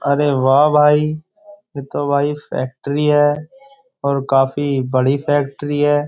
अरे वाह भाई ये तो भाई फैक्ट्री है और काफी बड़ी फैक्ट्री है।